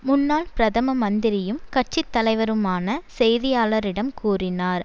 முன்னாள் பிரதம மந்திரியும் கட்சி தலைவருமான செய்தியாளரிடம் கூறினார்